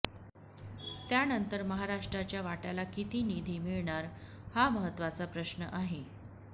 त्यानंतर महाराष्ट्राच्या वाट्याला किती निधी मिळणार हा महत्त्वाचा प्रश्न आहे